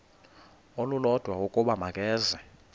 olulodwa ukuba makeze